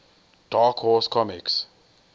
dark horse comics